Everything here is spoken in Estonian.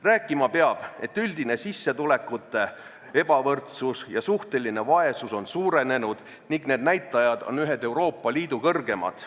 Rääkima peab sellest, et üldine sissetulekute ebavõrdsus ja suhteline vaesus on suurenenud ning need näitajad on ühed Euroopa Liidu kõrgemad.